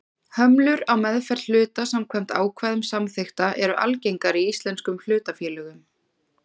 Hömlur á meðferð hluta samkvæmt ákvæðum samþykkta eru algengar í íslenskum hlutafélögum.